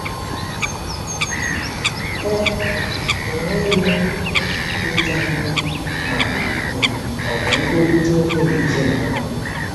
E um nweghị um ịja mma ma um ọ bụ nkwurịta okwu n'ezinụlọ.